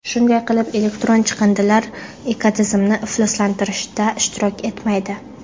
Shunday qilib, elektron chiqindilar ekotizimni ifloslantirishda ishtirok etmaydi.